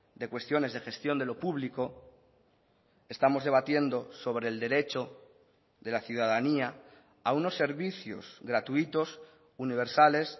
de cuestiones de gestión de lo público estamos debatiendo sobre el derecho de la ciudadanía a unos servicios gratuitos universales